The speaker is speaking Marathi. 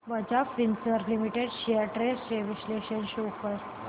Bajaj Finserv limited shares trends चे विश्लेषण शो कर